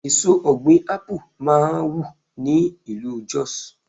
Èso ọ̀gbìn Ápù máa wù ní ìlú Jos.